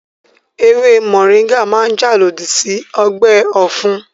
Ewé mọ̀ríńgà máa jà lòdì sí ọgbẹ́ ọ̀fun